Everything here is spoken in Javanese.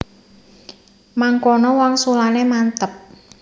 Mangkono wangsulane mantep